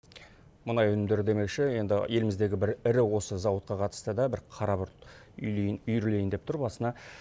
мұнай өнімдері демекші енді еліміздегі бір ірі осы зауытқа қатысты да бір қара бұлт үйірілейін деп тұр басына